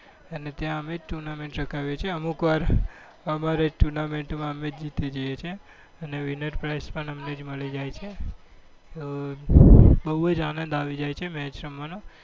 અને ત્યાં અમે જ tournament રખાવીએ છીએ અને અમુક વાર અમારી જ tournament માં અમે જ જીતી જઈએ છીએ અને winner prize પણ અમને જ મળી જાય છે. તો બહુ જ આનંદ આવી જાય છે match રમવાનું.